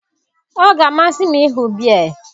Ọ ga-amasị m ịhụ Bear